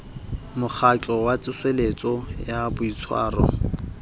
mokgatlo wa tsoseletso ya boitshwaro